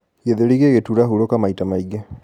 gĩthũri gigituura, huruka maĩ ta maĩ ngi